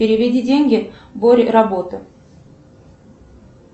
переведи деньги боря работа